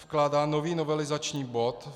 Vkládá nový novelizační bod.